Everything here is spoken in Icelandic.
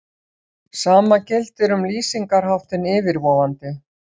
Sama gildir um lýsingarháttinn yfirvofandi.